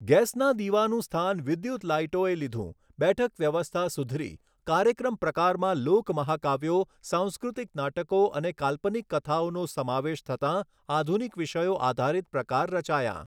ગેસના દીવાનું સ્થાન વિદ્યુત લાઈટોએ લીધું, બેઠક વ્યવસ્થા સુધરી, કાર્યક્રમ પ્રકારમાં લોક મહાકાવ્યો, સાંસ્કૃતિક નાટકો અને કાલ્પનિક કથાઓનો સમાવેશ થતાં આધુનિક વિષયો આધારિત પ્રકાર રચાયાં.